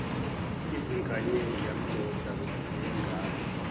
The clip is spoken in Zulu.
izinkanyezi yamdonsa ngengalo